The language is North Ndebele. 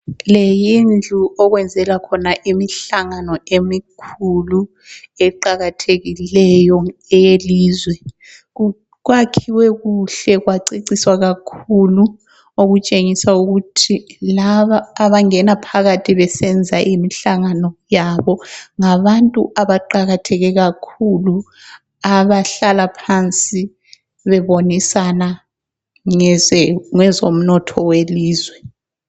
Leyi yindlu okwenzelwa khona imihlangano emikhulu eqakathekileyo eyelizwe, kwakhiwe kuhle kwaceciswa kakhulu, okutshengisa ukuthi laba abangena phakathi besenza imihlangano yabo ngabantu abaqakatheke kakhulu abahlala phansi bebonisana ngezomnotho welizwe.